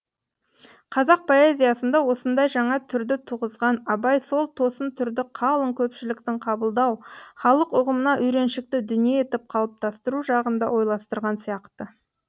қазақ поэзиясында осындай жаңа түрді туғызған абай сол тосын түрді қалың көпшіліктің қабылдау халық ұғымына үйреншікті дүние етіп қалыптастыру жағын да ойластырған сияқты